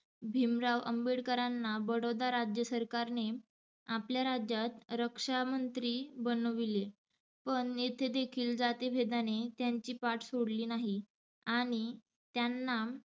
भिमराव आंबेडकरांना बडौदा राज्य सरकारने आपल्या राज्यात रक्षामंत्री बनविले पण येथे देखील जातीभेदाने त्यांची पाठ सोडली नाही आणि त्यांना